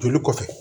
Joli kɔfɛ